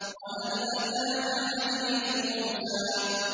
وَهَلْ أَتَاكَ حَدِيثُ مُوسَىٰ